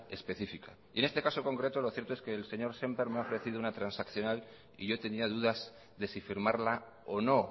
específica y en este caso concreto lo cierto es que el señor sémper me ha ofrecido una transaccional y yo tenía dudas de si firmarla o no